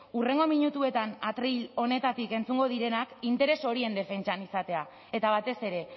hurrengo minutuetan atril honetatik entzungo direnak interes horien defentsan izatea eta batez ere